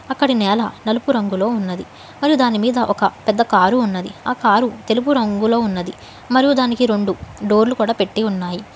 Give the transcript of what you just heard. అక్కడ నేల నలుపు రంగులో ఉన్నది మరియు దాని మీద ఒక పెద్ద కారు ఉన్నది ఆ కారు తెలుపు రంగులో ఉన్నది మరో దానికి రెండు డోర్లు కూడా పెట్టి ఉన్నాయి.